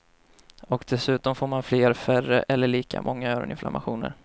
Och dessutom får man fler, färre eller lika många öroninflammationer.